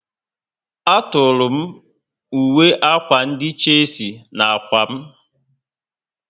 A tọrọ m uwe akwa ndị Chelsea na ákwà m